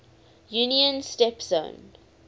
union's steppe zone